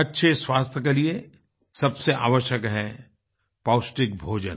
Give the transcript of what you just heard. अच्छे स्वास्थ्य के लिए सबसे आवश्यक है पौष्टिक भोजन